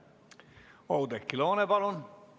Oudekki Loone, palun!